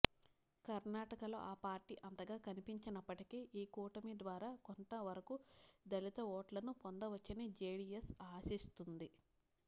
కర్నాటకలో ఆ పార్టీ అంతగా కనిపించనప్పటికీ ఈ కూటమి ద్వారా కొంత వరకు దళిత ఓట్లను పొందవచ్చని జెడిఎస్ ఆశిస్తోంది